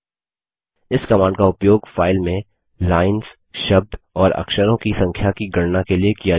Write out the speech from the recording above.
इस कमांड का उपयोग फाइल में लाइन्स शब्द और अक्षरों की संख्या की गणना के लिए किया जाता है